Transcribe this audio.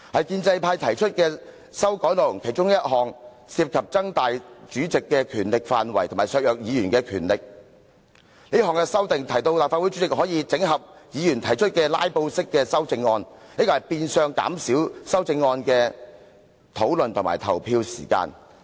建制派提出的其中一項修訂建議涉及擴大主席的權力範圍及削弱議員的權力，這項修訂提到立法會主席可以整合議員提出的"拉布"式修正案，變相減少修正案的討論和投票時間。